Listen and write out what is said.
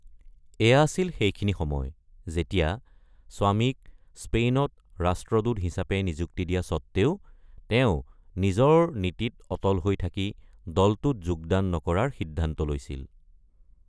এয়া আছিল সেইখিনি সময় যেতিয়া, স্বামীক স্পেইনত ৰাষ্ট্ৰদূত হিচাপে নিযুক্তি দিয়া স্বত্বেও তেওঁ নিজৰ নীতিত অটল হৈ থাকি দলটোত যোগদান নকৰাৰ সিদ্ধান্ত লৈছিল।